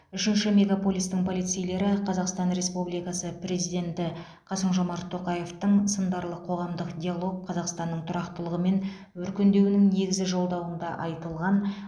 үшінші мегаполистің полицейлері қазақстан республикасы президенті қасым жомарт тоқаевтың сындарлы қоғамдық диалог қазақстанның тұрақтылығы мен өркендеуінің негізі жолдауында айтылған